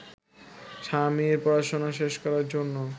স্বামীর পড়াশোনা শেষ করার জন্য